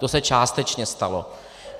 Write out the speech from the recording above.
To se částečně stalo.